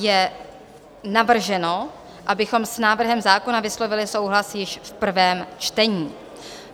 Je navrženo, abychom s návrhem zákona vyslovili souhlas již v prvém čtení.